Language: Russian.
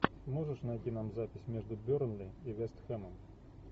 можешь найти нам запись между бернли и вест хэмом